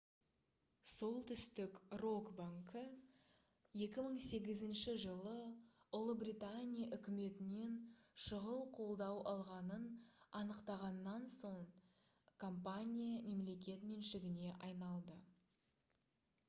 солтүстік рок банкі 2008 жылы ұлыбритания үкіметінен шұғыл қолдау алғанын анықтағаннан соң компания мемлекет меншігіне айналды